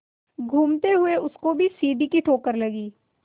घूमते हुए उसको भी सीढ़ी की ठोकर लगी